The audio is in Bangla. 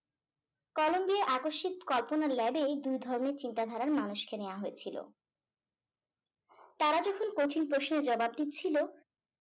কলোম্ব এ আকস্মিক কল্পনার lab এ দুই ধরণের চিন্তাধারার মানুষকে নেওয়া হয়েছিল তারা যখন প্রশ্নের জবাব দিচ্ছিলো